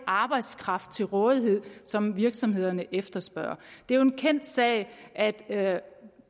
arbejdskraft til rådighed som virksomhederne efterspørger det er jo en kendt sag at